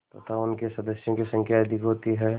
तथा उनके सदस्यों की संख्या अधिक होती है